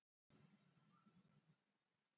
Hann á heima á Akureyri.